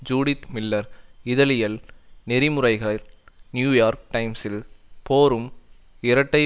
Judith Miller இதழியல் நெறிமுறைகள் New York டைம்சில் போரும் இரட்டை